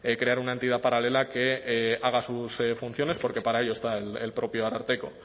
crear una entidad paralela que haga sus funciones porque para ello está el propio ararteko